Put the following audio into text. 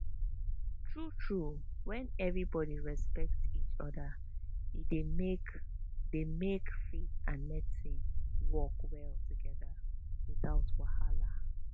true true when everybody respect each other e dey make dey make faith and medicine work well together without wahala